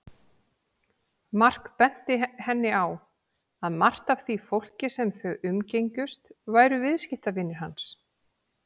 Mark benti henni á að margt af því fólki sem þau umgengjust væru viðskiptavinir hans.